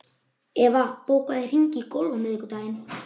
Eva, bókaðu hring í golf á miðvikudaginn.